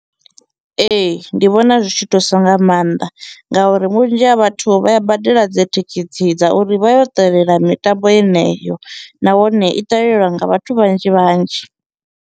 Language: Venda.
Ee, ndi vhona zwi tshi thusa nga maanḓa ngauri vhunzhi ha vhathu vha ya badela dzi thikhithi dza uri vha yo ṱalela mitambo yeneyo nahone i ṱalelelwa nga vhathu vhanzhi vhanzhi.